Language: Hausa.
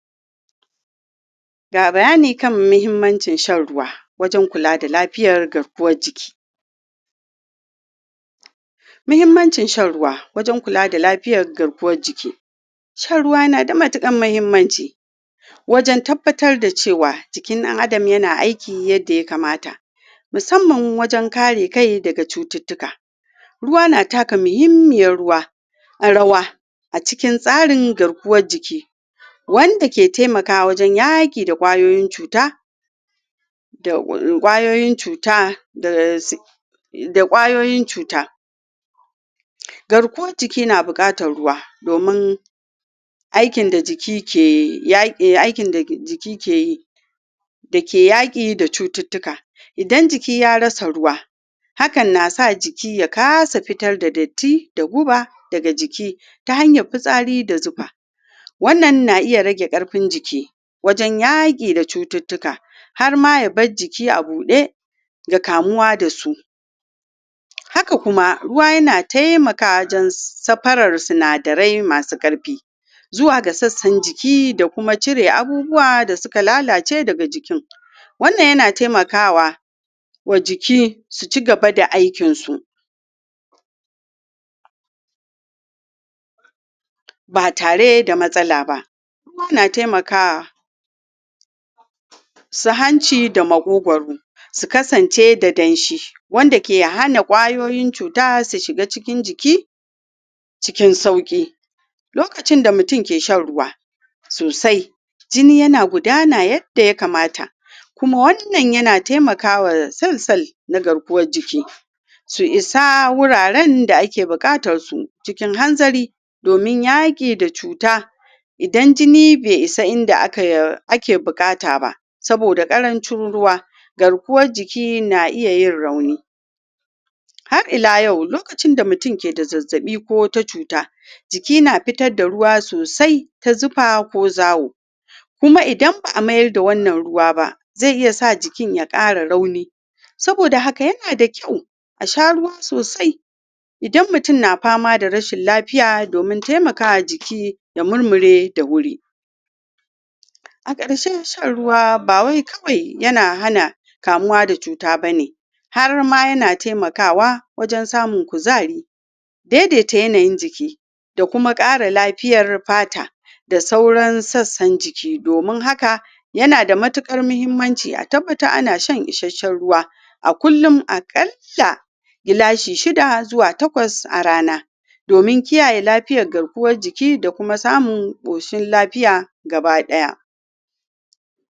ga bayani kan muhimmancin shan ruwa wajen kula da lafiyar garkuwan jiki muhimmancin shan ruwa wajen kula da lafiyar garkuwan jiki shan ruwa na da matukar muhimmanci wajen tabbatar da cewa jikin dan Adam na aiki yan da ya kamata musamman wajen kare kai daga cututuka ruwa na taka muhimmiya ruwa a rawa a cikin tsarin garkuwa jiki wande je taimaka wajenyaki da kwayoyin cuta da kwayoyin cuta da kwayoyin cuta garkuwan jiki na bukatan ruwa domin aikin da jiki ke aikin da jiki ke yi da ke yaki da cututuka idanjiki ya rasa ruwa hakan na sa jiki ya fitar da dirty da guba daga jiki ta hanya fisari da zufa wannan na iya rage karfin jiki wajen yage da cututuka har ma ya bar jiki a bude da kamuwa da su haka kuma ruwa yana taimaka wajen safara sinadirai masu karfi zuwa ga sassan jiki kuma cire abubuwa da su ka lalace da ga jiki wannan ya na taimakawa wa jiki su ci gaba da aikin su ba tare da matsala ba kuma ya na taimakawa su hanci da makogoro su kasance da danshi wande ke hana kwayoyin cuta su shiga cikin jiki cikin sauki lokacin da mutum ke shan ruwa sosai jini ya na gudana yadda ya kamata kuma wannan yana taimakawa sul sulna garkuwan jiki su isa wuraren da ake bukatan su cikin hanzari domin yaki da cuta idan jini bai isa ida ake bukata ba soboda karancin ruwa garkuwan jiki na iya yin rauni har ila yau lokacin da mutum ke da zazzabi ko wata cuta jiki na fitar da ruwa sosai ta zufa ko zawo kuma idan ba'a mayar da wannan ruwa ba zai iya sa jikin ya kara rauni soboda haka yana dakyau asha ruwa sosai idan mutum na fama da rashin lafiya domin taimakawa jiki ya murmure da wuri a karshe shan ruwa ba wai kawai ya na hana kamuwa da cuta bane har ma ya na taimakawa wajen samun kuzari daidaita yanayin jiki da kuma kara lafiyar fata da sauran sassan jiki domin haka yana da matukar muhimmanci a tabbatar ana shan isashen ruwa a kuluma kalla glashi shidda zuwa takwas a rana domin kiyaye lafiyan garkuwan jiki da kuma samun koshin lafiya gabadaya